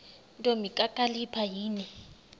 ntombi kakhalipha yini